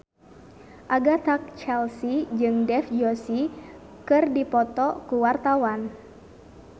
Agatha Chelsea jeung Dev Joshi keur dipoto ku wartawan